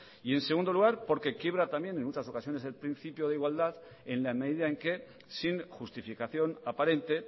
y en segundo lugar porque quiebra también en muchas ocasiones el principio de igualdad en la medida en que sin justificación aparente